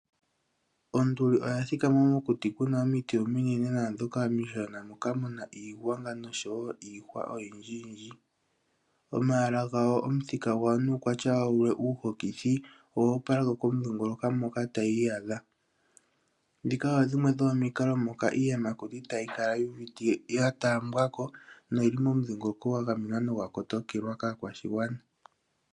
Onduli oya thikama mokuti kuna omiti ominene naandhoka omishona moka muna iigwangwa nosho wo iihwa oyindjiyindji. Omaala gayo, omuthika gwayo nuukwatya wayo uuhokothi owo opalako komudhingoloko moka tayi iyadha. Ndhika odho dhimwe dhomomikalo moka iiyamakuti tayi kala yu uvite ya taambiwako noyili momudhingoloko gwa gamenwa nogwa kotokelwa kaakwashigwana.